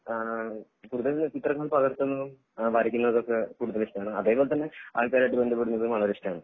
ആഹ് കൂടുതൽ ചിത്രങ്ങൾ പകർത്തുന്നതും വരക്കുന്നതൊക്കെ കൂടുതൽ ഇഷ്ടമാണ് അതേപോലെ തന്നെ ആള്കാരുമായിട്ട് ബന്ധപ്പെടുന്നതും വളരെ ഇഷ്ടാണ്